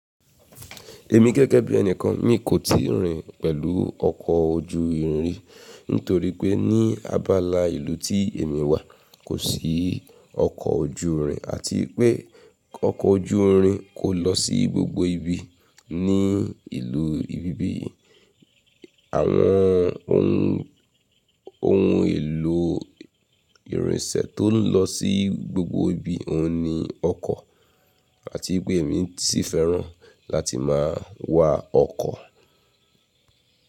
Èmi gẹ́gẹ́ bí ẹni kan, mi kò tíì rìn pẹ̀lú ọkọ̀ ojú irin ri torí pé ní abala ìlú tí èmi wà kò sí ọkọ̀ ojú irin àti pé ọkọ̀ ojú irin kò lọ sí gbogbo ibi ní ìlú ibi bí yìí. Àwọn ohun, ohun èlò ìrìnsẹ̀ tó ń lọ sí gbogbo ibi, òun ni ọkọ̀ àti pé èmi sì fẹ́ràn láti máa wa ọkọ̀.